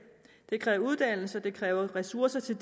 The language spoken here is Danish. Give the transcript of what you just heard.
kræver uddannelse og det kræver ressourcer til